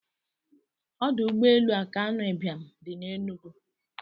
Odụ ụgbọ elu akanu ibiam di n'enugu.